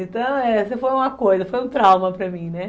Então, essa foi uma coisa, foi um trauma para mim, né?